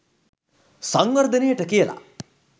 සංවර්ධනයට කියලා.